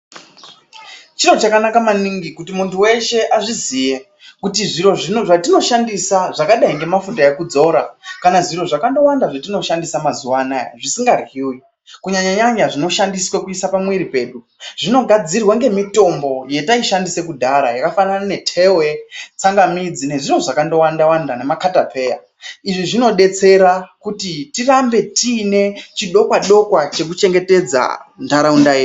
Chiro chakanaka maningi kuti muntu weshe azviziye kutizviro zvatino shandisa zvakadai ngemafuta ekudzora kana zviro zvakando wanda zvatino shandisa mazuva ano aya zvisinga ryiwi kunyanya nyanya zvinoshandiswa pamuviri pedu zvino gadzirwa ngemitombo yataishandisa kudhara zvakafanana netewe tsanga midzi nezviro zvakandowanda wanda nemakatapeya izvi zvinotidetsera kuti tirambe tine chidokwa dokwa cheku chengetedza ndaraunta yedu.